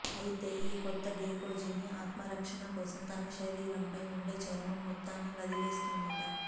అయితే ఈ కొత్త గెకోజీవి ఆత్మరక్షణ కోసం తన శరీరంపై ఉండే చర్మం మొత్తాన్నీ వదిలేస్తుందట